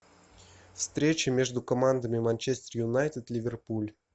встреча между командами манчестер юнайтед ливерпуль